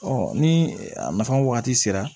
ni a nafa wagati sera